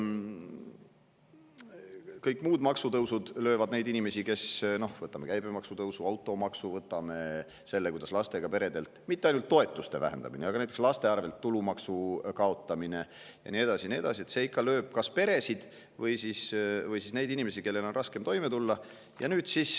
Ka kõik muud maksutõusud – võtame käibemaksu tõusu või automaksu, võtame selle, kuidas lastega peredel mitte ainult ei vähendata toetusi, vaid kaotatakse näiteks ka tulumaksu laste eest ja nii edasi – löövad ikka kas peresid või neid inimesi, kellel on raskem toime tulla.